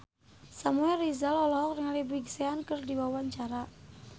Samuel Rizal olohok ningali Big Sean keur diwawancara